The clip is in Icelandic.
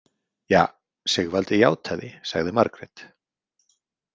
Ja, Sigvaldi játaði, sagði Margrét.